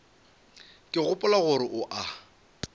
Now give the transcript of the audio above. ke gopola gore o a